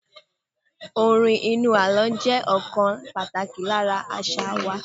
Orin inú àlọ́ jẹ́ ọ̀kan pàtàkì lára àṣà wa.